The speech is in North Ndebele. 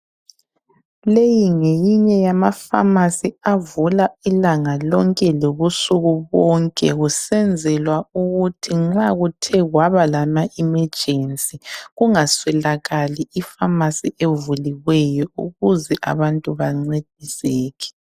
Leyi ngeyinye yamapharmacy avula ilanga lonke lobusuku bonke kusenzelwa ukuthi nxa kuthe kwaba lamaemergency kungaswelakali ipharmacy evuliweyo ukuze abantu bancediseke.